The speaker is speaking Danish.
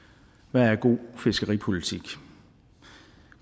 hvad er god fiskeripolitik